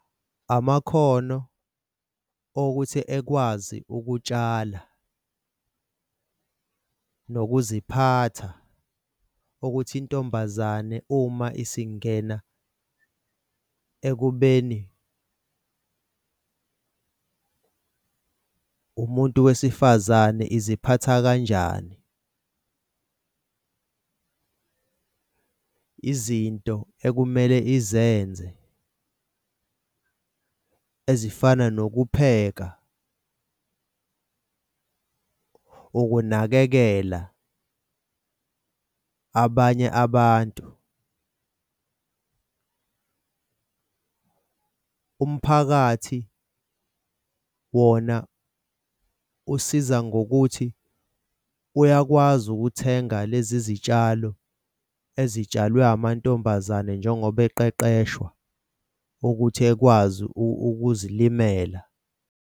Amakhono okuthi ekwazi ukutshala nokuziphatha ukuthi intombazane uma isingena ekubeni umuntu wesifazane iziphatha kanjani. Izinto ekumele izenze ezifana nokupheka ukunakekela abanye abantu. Umphakathi wona usiza ngokuthi uyakwazi ukuthenga lezi zitshalo ezitshalwe amantombazane njengoba eqeqeshwa ukuthi ekwazi ukuzilimela.